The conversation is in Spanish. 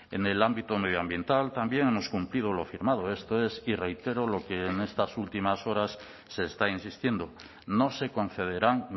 en el ámbito medioambiental también hemos cumplido lo firmado esto es y reitero lo que en estas últimas horas se está insistiendo no se concederán